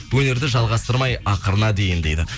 өнерді жалғастырмай ақырына дейін дейді